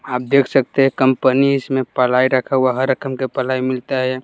आप देख सकते हैं कंपनी इसमें पलाई रखा हुआ हर रकम के पलाई मिलता है यहाँ।